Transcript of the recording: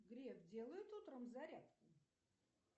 греф делает утром зарядку